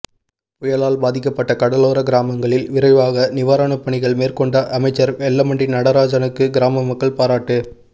புயலால் பாதிக்கப்பட்ட கடலோர கிராமங்களில் விரைவாக நிவாரணப்பணிகள் மேற்கொண்ட அமைச்சர் வெல்லமண்டி நடராஜனுக்கு கிராம மக்கள் பாராட்டு